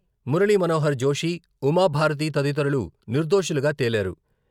మురళీ మనోహర్ జోషి, ఉమా భారతీ తదితరులు నిర్దోషులుగా తేలారు.